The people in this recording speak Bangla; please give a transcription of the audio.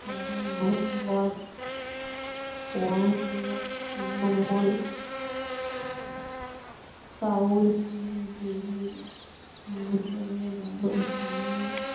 তেরো নভেম্বর কোরানদের তৃণমূল কাউলসিল বেড়ি মন্ডলের অবসানে